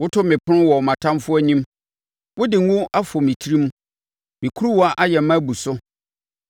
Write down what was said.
Woto me ɛpono wɔ mʼatamfoɔ anim. Wode ngo afɔ me tirim; me kuruwa ayɛ ma abu so.